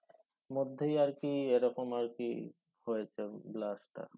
মধ্যে আর কি এই রকম আর কি হয়েছে blast টা